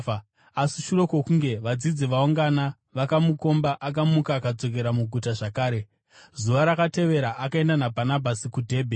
Asi shure kwokunge vadzidzi vaungana vakamukomba, akamuka akadzokera muguta zvakare. Zuva rakatevera akaenda naBhanabhasi kuDhebhe.